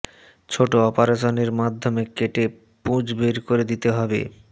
ছোট অপারেশন এর মাধ্যমে কেটে পুঁজ বের করে দিতে হবে